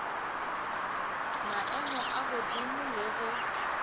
maemo a godimo le ge